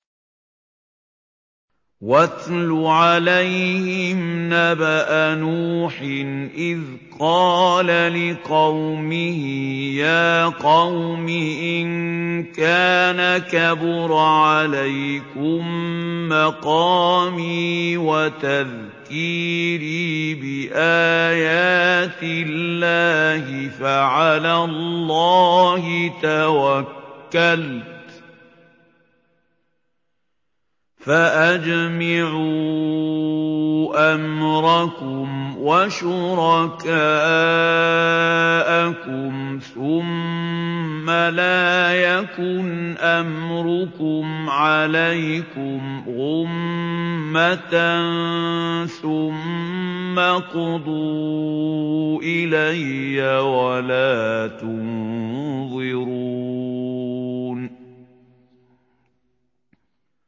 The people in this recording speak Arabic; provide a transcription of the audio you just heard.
۞ وَاتْلُ عَلَيْهِمْ نَبَأَ نُوحٍ إِذْ قَالَ لِقَوْمِهِ يَا قَوْمِ إِن كَانَ كَبُرَ عَلَيْكُم مَّقَامِي وَتَذْكِيرِي بِآيَاتِ اللَّهِ فَعَلَى اللَّهِ تَوَكَّلْتُ فَأَجْمِعُوا أَمْرَكُمْ وَشُرَكَاءَكُمْ ثُمَّ لَا يَكُنْ أَمْرُكُمْ عَلَيْكُمْ غُمَّةً ثُمَّ اقْضُوا إِلَيَّ وَلَا تُنظِرُونِ